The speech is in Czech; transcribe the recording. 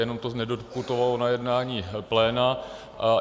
Jenom to nedoputovalo na jednání pléna.